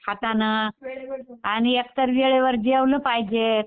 हातानं आणि एकतर वेळेवर जेवलं पाहिजे.